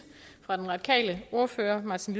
fra den radikale ordfører martin